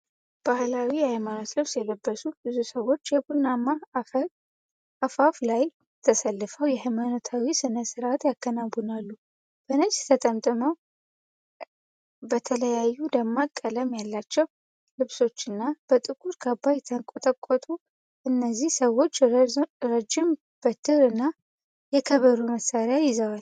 ባህላዊ የሃይማኖት ልብስ የለበሱ ብዙ ሰዎች በቡናማ አፈር አፋፍ ላይ ተሰልፈው የሃይማኖታዊ ሥነ ስርዓት ያከናውናሉ። በነጭ ጠምጠምታ፣ በተለያዩ ደማቅ ቀለም ያላቸው ልብሶችና በጥቁር ካባ የተንቆጠቆጡ እነዚህ ሰዎች ረጅም በትር እና የከበሮ መሣሪያ ይዘዋል።